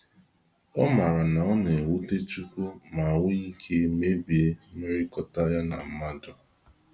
Ọ mara na ọ na ewute chukwu ma nwee ike mebie mmekọrịta ya na mmadụ.